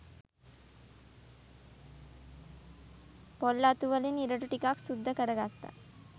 පොල් අතු වලින් ඉරටු ටිකක් සුද්ද කරගත්ත